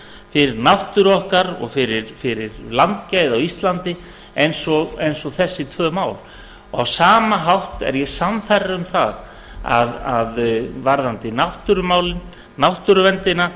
fyrir náttúru okkar og fyrir landgæði á íslandi og þessi tvö mál á sama hátt er ég sannfærður um það varðandi náttúrumálin náttúruverndina